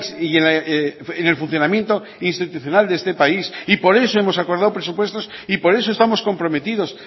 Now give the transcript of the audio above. y en el funcionamiento institucional de este país y por eso hemos acordado presupuestos y por eso estamos comprometidos